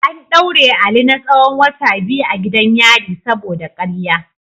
An daure Ali na tsahon wata biyu a gidan yari saboda karya.